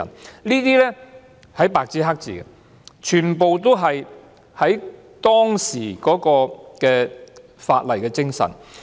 這些特權是白紙黑字寫明的，全部都是基於當時的立法精神。